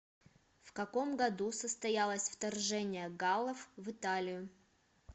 в каком году состоялось вторжение галлов в италию